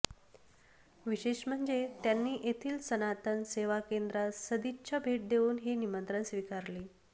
विशेष म्हणजे त्यांनी येथील सनातन सेवाकेंद्रास सदिच्छा भेट देऊन हे निमंत्रण स्वीकारले